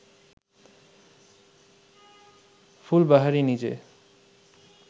ফুলবাহারি নিজে